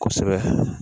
Kosɛbɛ